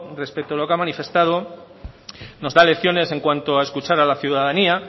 respecto a lo que ha manifestado nos da lecciones en cuanto a escuchar a la ciudadanía